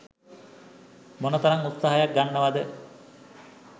මොන තරම් උත්සහයක් ගන්නවද